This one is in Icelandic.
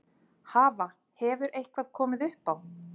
Hafa, hefur eitthvað komið upp á?